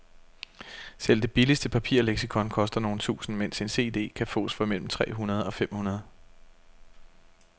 Selv det billigste papirleksikon koster nogle tusinde, mens en cd kan fås for mellem tre hundrede og fem hundrede.